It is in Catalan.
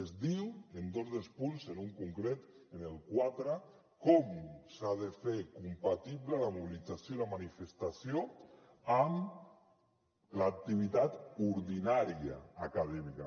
es diu en dos dels punts en un concret en el quatre com s’ha de fer compatible la mobilització i la manifestació amb l’activitat ordinària acadèmica